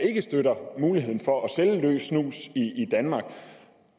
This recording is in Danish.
ikke støtter muligheden for at sælge løs snus i danmark